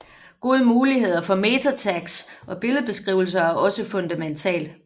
Gode muligheder for MetaTags og billedbeskrivelser er også fundamentalt